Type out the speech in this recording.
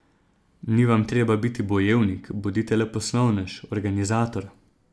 Ni vam treba biti bojevnik, bodite le poslovnež, organizator.